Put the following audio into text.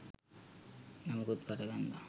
නමකුත් පට බැන්දා